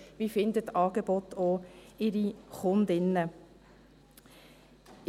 Wie finden die Angebote auch ihre Kundinnen und Kunden?